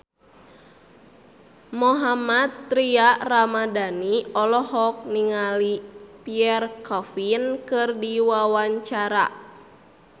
Mohammad Tria Ramadhani olohok ningali Pierre Coffin keur diwawancara